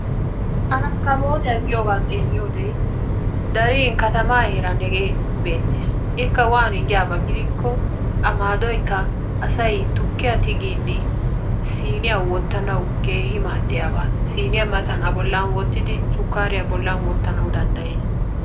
Arakkabootiya giyogaa xeelliyode darin katamaa heeran hegee beettees. Ikka waani giyaba gidikko a maadoykka asay tukkiya tigiiddi siiniya wottanawu keehi maaddiyaba. Siniya matan a bollan wottidi sukkariya matan wottanawu danddayees.